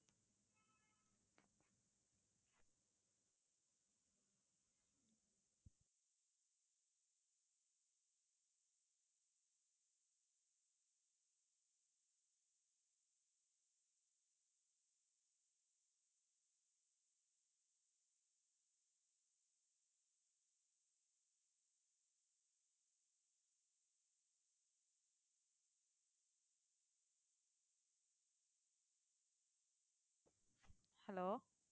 hello